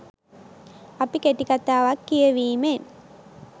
අපි කෙටිකතාවක් කියැවීමෙන්